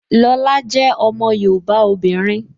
Lọla jẹ́ ọmọ yoòbá obìnrin